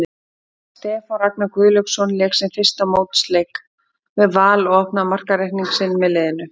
Stefán Ragnar Guðlaugsson lék sinn fyrsta mótsleik með Val og opnaði markareikning sinn með liðinu.